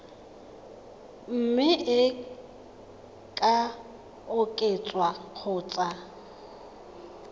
mme e ka oketswa kgotsa